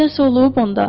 Nəsə olub onda?